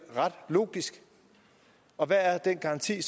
ret logisk og hvad er den garanti